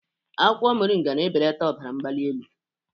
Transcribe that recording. Akwụkwọ moringa na-ebeleta ọbara mgbali elu.